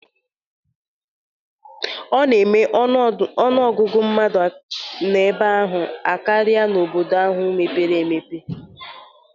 Ọ na-eme ọnụ ọgụgụ mmadụ n'ebe ahụ akarịa n'obodo ahụ mepere emepe.